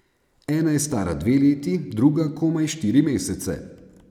Ena je stara dve leti, druga komaj štiri mesece.